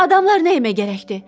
Adamlar nəyə gərəkdi?